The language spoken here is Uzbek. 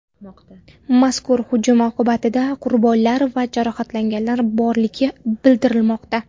Mazkur hujum oqibatida qurbonlar va jarohatlanganlar borligi bildirilmoqda.